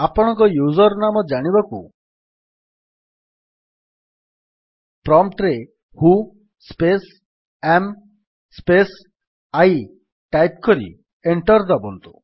ଆପଣଙ୍କ ୟୁଜର୍ ନାମ ଜାଣିବାକୁ ପ୍ରମ୍ପ୍ଟ୍ ରେ who space am space I type କରି ଏଣ୍ଟର୍ ଦାବନ୍ତୁ